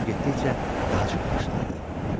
Burnu getdikcə daha çox qaşınırdı.